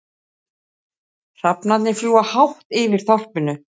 Hrafnarnir fljúga hátt yfir þorpinu.